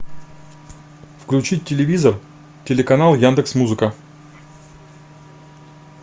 включить телевизор телеканал яндекс музыка